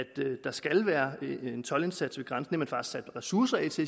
der skal være en toldindsats ved grænsen og sat ressourcer af til